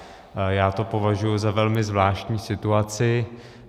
Já to považuji za velmi zvláštní situaci.